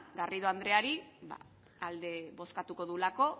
garrido andreari alde bozkatuko duelako